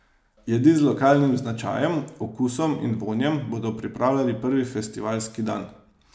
Jedi z lokalnim značajem, okusom in vonjem bodo pripravljali prvi festivalski dan.